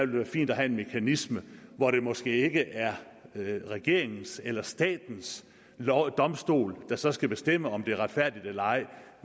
være fint at have en mekanisme hvor det måske ikke er regeringens eller statens domstol der så skal bestemme om det er retfærdigt eller ej